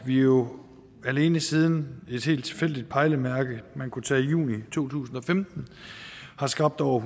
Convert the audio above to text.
vi jo alene siden et helt tilfældigt pejlemærke man kunne tage juni to tusind og femten har skabt over